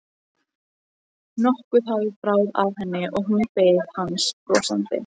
Nokkuð hafði bráð af henni og hún beið hans brosandi.